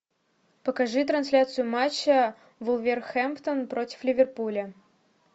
покажи трансляцию матча вулверхэмптон против ливерпуля